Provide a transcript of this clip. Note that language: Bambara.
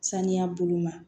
Saniya bolo ma